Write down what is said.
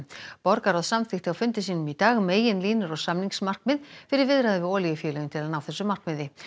borgarráð samþykkti á fundi sínum í dag meginlínur og samningsmarkmið fyrir viðræður við olíufélögin til að ná þessu markmiði